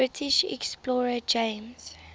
british explorer james